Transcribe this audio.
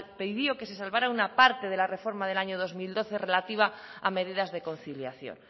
pidió que se salvara una parte de la reforma del año dos mil doce relativa a medidas de conciliación